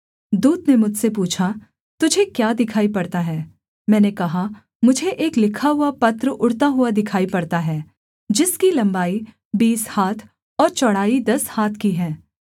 दूत ने मुझसे पूछा तुझे क्या दिखाई पड़ता है मैंने कहा मुझे एक लिखा हुआ पत्र उड़ता हुआ दिखाई पड़ता है जिसकी लम्बाई बीस हाथ और चौड़ाई दस हाथ की है